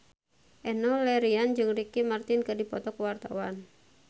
Enno Lerian jeung Ricky Martin keur dipoto ku wartawan